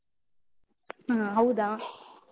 ಹ, ಹೌದಾ?